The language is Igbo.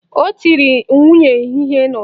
Ọ tiri nwunye ihe n'ụtụtụ a